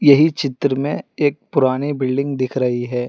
यही चित्र में एक पुरानी बिल्डिंग दिख रही है।